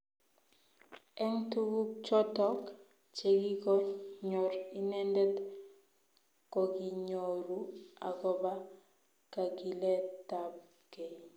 Eng tuguk choto chegikonyor inendet kokinyoru agoba kagilet tab kei